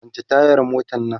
kwance tayar motan Nan!